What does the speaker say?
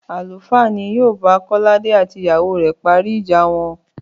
Àlùfáà ni yóò bá Kọ́ládé àti ìyàwó rẹ̀ parí ìjà wọn